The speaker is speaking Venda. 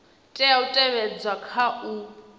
tea u tevhedzwa kha u